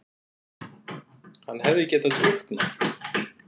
Hann hefði getað drukknað!